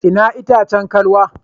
Ina itacen kalwa?